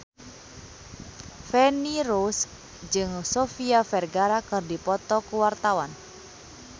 Feni Rose jeung Sofia Vergara keur dipoto ku wartawan